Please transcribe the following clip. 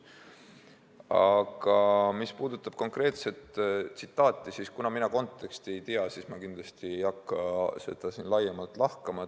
Aga mis puudutab konkreetset tsitaati, kuna ma konteksti ei tea, siis ma kindlasti ei hakka seda siin laiemalt lahkama.